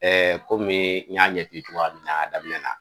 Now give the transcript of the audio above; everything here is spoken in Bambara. komi n y'a ɲɛti cogoya min na a daminɛ na